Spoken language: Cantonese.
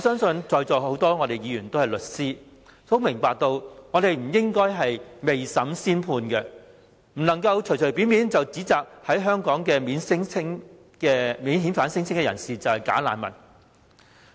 在座多位議員是律師，他們應該明白不應該未審先判，把在香港提出免遣返聲請的人士說成是"假難民"。